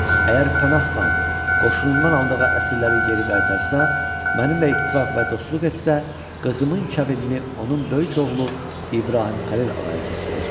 Əgər Pənah xan qoşunundan aldığı əsirləri geri qaytarsa, mənimlə ittifaq və dostluq etsə, qızımın kəbinini onun böyük oğlu İbrahim Xəlil ağaya kəsdirəcəyəm.